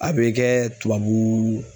A bɛ kɛ tubabu